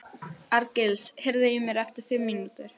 Arngils, heyrðu í mér eftir fimm mínútur.